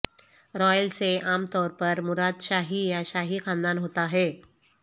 Royal سے عام طور پر مراد شاہی یا شاہی خاندان ہوتا ہے